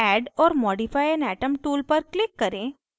add or modify an atom tool पर click करें